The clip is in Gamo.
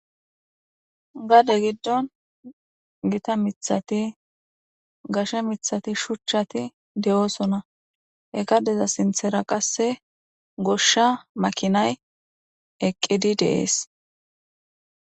gade giddon gita mithati gashe mithati shuchchati de7oosona he gadeza sinthera qasse goshsha makinay eqqidi de'ees